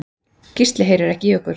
Gísli heyrir ekki í okkur.